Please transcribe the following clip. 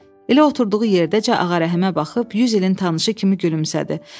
Elə oturduğu yerdəcə Ağa Rəhimə baxıb 100 ilin tanışı kimi gülümsədi.